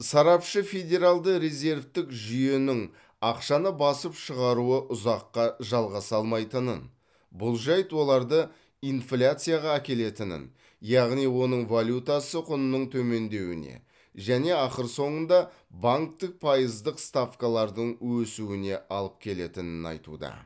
сарапшы федералды резервтік жүйенің ақшаны басып шығаруы ұзаққа жалғаса алмайтынын бұл жайт оларды инфляцияға әкелетінін яғни оның валютасы құнының төмендеуіне және ақыр соңында банктік пайыздық ставкалардың өсуіне алып келетінін айтуда